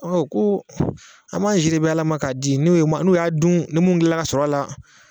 Ɔ ko an b'an si de ben ala ma k'a di n'u ye ma n'u y'a dun ni mun kila la ka sɔrɔ a la